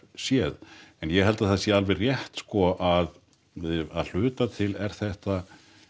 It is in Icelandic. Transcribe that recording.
séð en ég held að það sé alveg rétt sko að hluta til er þetta